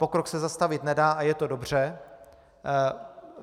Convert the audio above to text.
Pokrok se zastavit nedá a je to dobře.